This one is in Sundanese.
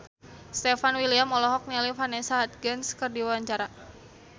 Stefan William olohok ningali Vanessa Hudgens keur diwawancara